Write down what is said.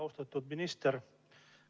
Austatud minister!